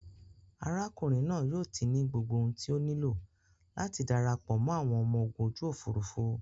Arákùnrin naa yóò ti ní gbogbo ohun tí o nílò láti darapọ̀ mọ́ àwọn ọmọ ogun ojú òfurufú